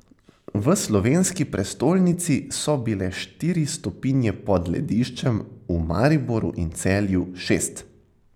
V slovenski prestolnici so bile štiri stopinje pod lediščem, v Mariboru in Celju šest.